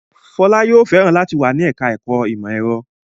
Fọlá yóò fẹ́ràn láti wà ní ẹ̀ka-ẹ̀kọ́ ìmọ̀-ẹ̀rọ.